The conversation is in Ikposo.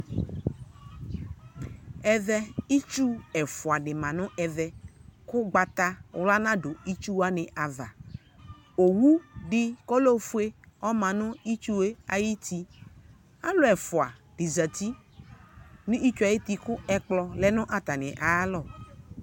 Ɛvɛ itsu ɛfʋadɩ ma nʋ ɛvɛ, k'ʋgbatawla nadʋ itsuwanɩ ava Owudɩ k'ɔlɛ ofue ɔma nʋ itsue ayuti , alʋ ɛfʋa dɩ zati n'itsuayuti kʋ ɛkplɔ dɩ lɛ nʋ atanɩ ayalɔ